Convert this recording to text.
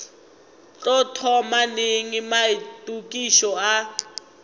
tlo thoma neng maitokišo a